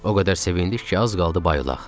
O qədər sevindik ki, az qaldı bayılaq.